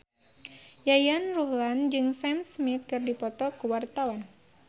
Yayan Ruhlan jeung Sam Smith keur dipoto ku wartawan